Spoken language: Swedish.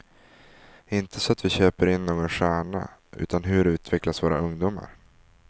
Inte så att vi köper in någon stjärna, utan hur utvecklas våra ungdomar.